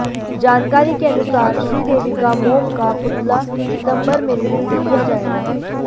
जानकारी के अनुसार श्रीदेवी का मोम का पुतला सितंबर में रिलीज किया जाएगा